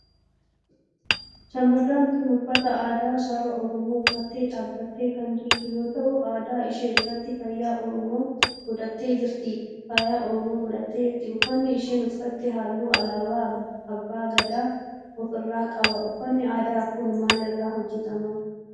shamarreen tun uffata aadaa saba oromoo uffattee dhaabbattee kan jirtu yoo ta'u adda ishee irratti faaya oromoo godhattee jirti. uffanni isheen uffatte halluu alaabaa abbaa Gadaa of irraa qaba. uffanni aadaa kun maal irraa hojjetama?